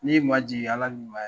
N'i y'i majigin Ala b'i mayɛlɛn